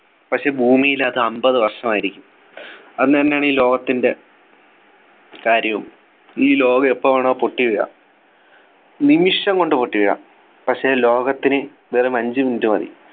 പക്ഷെ ഭൂമിയിൽ അത് അമ്പത് വർഷമായിരിക്കും എന്ന് തന്നെയാണ് ഈ ലോകത്തിൻ്റെ കാര്യവും ഈ ലോകം എപ്പോ വേണോ പൊട്ടി വീഴാം നിമിഷം കൊണ്ട് പൊട്ടി വീഴാം പക്ഷേ ലോകത്തിന് വെറും അഞ്ചു Minute മതി